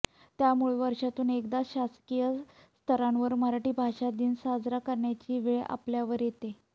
त्यामुळे वर्षातून एकदाच शासकीय स्तरांवर मराठी भाषा दिन साजरा करण्याची वेळ आपल्यावर येते